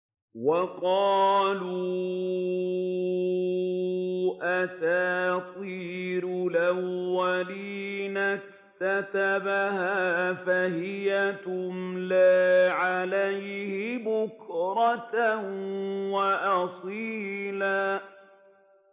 وَقَالُوا أَسَاطِيرُ الْأَوَّلِينَ اكْتَتَبَهَا فَهِيَ تُمْلَىٰ عَلَيْهِ بُكْرَةً وَأَصِيلًا